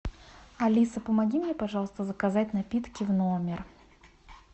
алиса помоги мне пожалуйста заказать напитки в номер